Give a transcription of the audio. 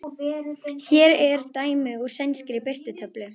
Hér er dæmi úr sænskri birtutöflu